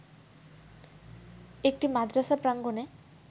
একটি মাদ্রাসা প্রাঙ্গনে